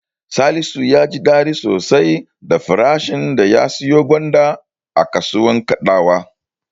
Salisu ya ji daɗi sosai da farashin da ya siyo gwanda a kasuwar Kadawa.